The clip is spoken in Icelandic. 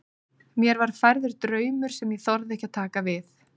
Mér var færður draumur sem ég þorði ekki að taka við.